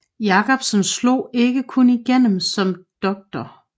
Jakobsen slog ikke kun igennem som Dr